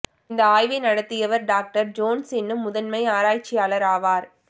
இந்த ஆய்வை நடத்தியவர் டாக்டர் ஜோன்ஸ் எனும் முதன்மை ஆராய்ச்சியாளர் ஆவார்